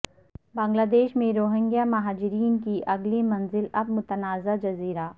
بنگلہ دیش میں روہنگیا مہاجرین کی اگلی منزل اب متنازع جزیرہ